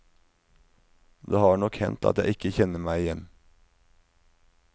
Det har nok hendt at jeg ikke kjenner meg igjen.